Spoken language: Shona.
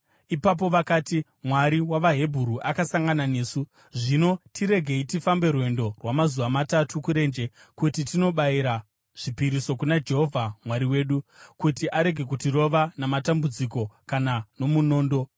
Ipapo vakati, “Mwari wavaHebheru akasangana nesu. Zvino tiregei tifambe rwendo rwamazuva matatu kurenje kuti tinobayira zvipiriso kuna Jehovha Mwari wedu, kuti arege kutirova namatambudziko kana nomunondo.”